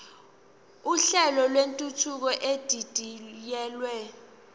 uhlelo lwentuthuko edidiyelwe